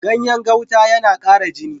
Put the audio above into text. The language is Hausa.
Ganyen gauta yana ƙara jini.